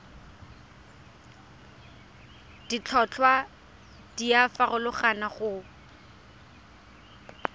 ditlhotlhwa di a farologana go